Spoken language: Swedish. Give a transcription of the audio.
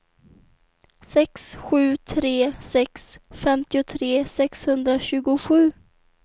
sex sju tre sex femtiotre sexhundratjugosju